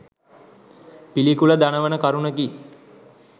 පිළිකුල දනවන කරුණකි.